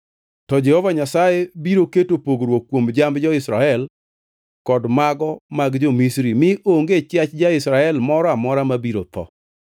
To Jehova Nyasaye biro keto pogruok kuom jamb jo-Israel kod mago mag jo-Misri mi onge chiach ja-Israel moro amora ma biro tho.’ ”